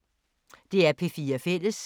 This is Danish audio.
DR P4 Fælles